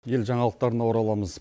ел жаңалықтарына ораламыз